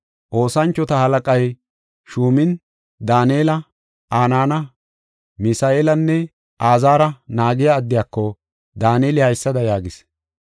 Oosanchota halaqay shuumin Daanela, Anaana, Misa7eelanne Azaara naagiya addiyako, Daaneli haysada yaagis: